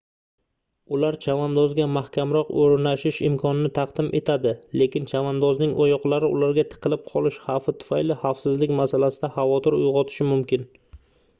ular chavandozga mahkamroq oʻrnashish imkonini taqdim etadi lekin chavandozning oyoqlari ularga tiqilib qolishi xavfi tufayli xavfsizlik masalasida xavotir uygʻotishi mumkin